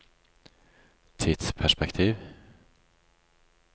tidsperspektiv